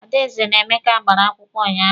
Adaeze na Emeka gbara akwụkwọ unyaahụ.